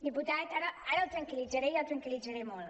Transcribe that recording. diputat ara el tranquil·litzaré i el tranquil·litzaré molt